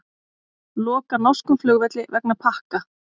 Loka norskum flugvelli vegna pakka